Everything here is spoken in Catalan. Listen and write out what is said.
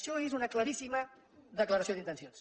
això és una claríssima declaració d’intencions